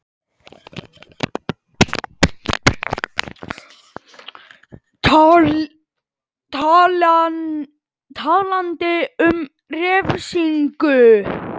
Talandi um refsingu?